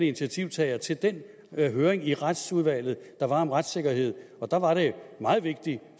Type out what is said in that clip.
initiativtagere til den høring i retsudvalget der var om retssikkerhed og der var det meget vigtigt